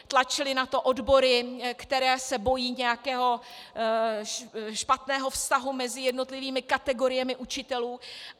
Tlačily na to odbory, které se bojí nějakého špatného vztahu mezi jednotlivými kategoriemi učitelů.